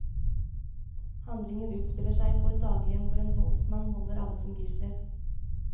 Handlingen utspiller seg på et daghjem hvor en voldsmann holder alle som gisler.